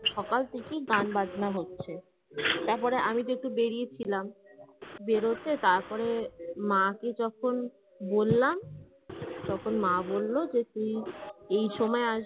সকাল থেকেই গান বাজানো হচ্ছে। তারপরে আমি তো একটু বেরিয়েছিলাম বেরোতে তারপরে মাকে যখন বললাম তখন মা বলল যে তুই এই সময়